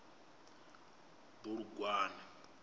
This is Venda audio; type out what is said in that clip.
bulugwane